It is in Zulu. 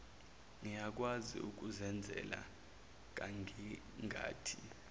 ngiyakwazi ukuzenzela ngangingathi